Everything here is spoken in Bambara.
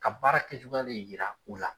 Ka baara kɛcogoya len yira u la.